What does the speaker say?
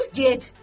Dur, get!